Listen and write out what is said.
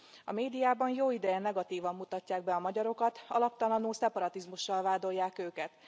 A médiában jó ideje negatívan mutatják be a magyarokat, alaptalanul szeparatizmussal vádolják őket.